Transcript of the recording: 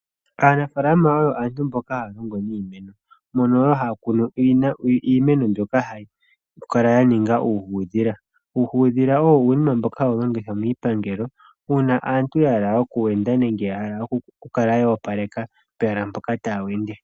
Aanafalama oyo aantu mboka haa longo niimeno mono wo haa kunu iimeno mbyoka hayi kala ya ninga uuhuudhila ,uuhudhila owo uunima mboka hawu longithwa miipangelo uuna aantu ya hala okuwenda nenge oku opaleka pehala mpoka taa wende.